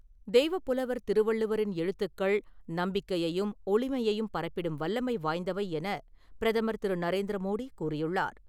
தெய்வப்புலவர் திருவள்ளுவரின் எழுத்துக்கள் நம்பிக்கையையும் , ஒளிமையையும் பரப்பிடும் வல்லமை வாய்ந்தவை என பிரதமர் திரு. நரேந்திர மோடி கூறியுள்ளார்.